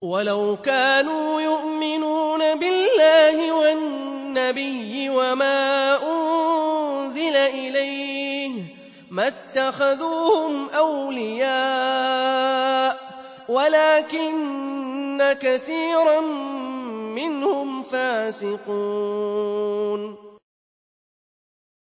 وَلَوْ كَانُوا يُؤْمِنُونَ بِاللَّهِ وَالنَّبِيِّ وَمَا أُنزِلَ إِلَيْهِ مَا اتَّخَذُوهُمْ أَوْلِيَاءَ وَلَٰكِنَّ كَثِيرًا مِّنْهُمْ فَاسِقُونَ